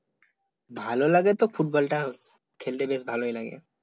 ভলো লাগে তো ফুটবল টা খেলতে বেশ ভালোই লাগে